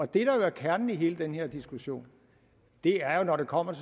der jo er kernen i hele den her diskussion er når det kommer